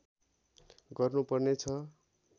गर्नु पर्ने छ